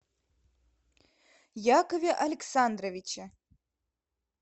якове александровиче